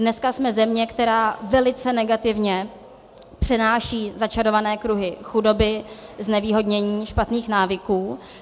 Dneska jsme země, která velice negativně přenáší začarované kruhy chudoby, znevýhodnění, špatných návyků.